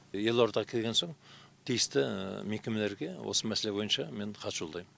елорда келген соң тиісті мекемелерге осы мәселе бойынша мен хат жолдаймын